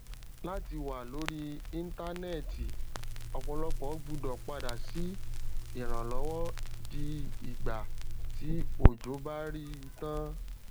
láti wá lórí íntánẹti ọpọlọpọ gbúdọ padà sí ìranlọwọ di ìgbà tí òjò bá rí tán